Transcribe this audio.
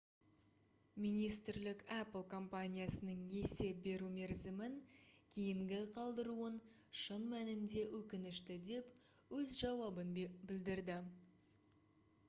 министрлік apple компаниясының есеп беру мерзімін кейінгі қалдыруын шын мәнінде өкінішті деп өз жауабын білдірді